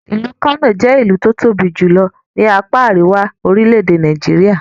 Ìlú Kano jẹ́ ìlú tó tóbi jùlọ ní apá Àríwá orilẹ̀-èdè Nigeria.